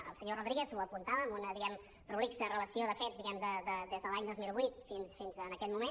el senyor rodríguez ho apuntava en una diguem ne prolixa relació de fets des de l’any dos mil vuit fins a aquest moment